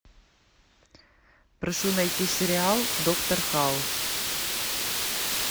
прошу найти сериал доктор хаус